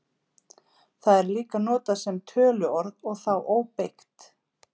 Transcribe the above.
Það er líka notað sem töluorð og þá óbeygt.